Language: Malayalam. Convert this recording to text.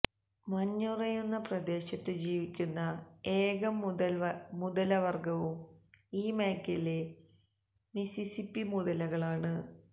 മഞ്ഞുറയുന്ന പ്രദേശത്തു ജീവിക്കുന്ന ഏക മുതലവര്ഗവും ഈ മേഖലയിലെ മിസിസിപ്പി മുതലകളാണ്